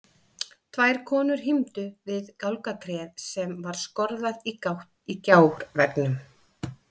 Tvær konur hímdu við gálgatréð sem var skorðað í gátt í gjárveggnum.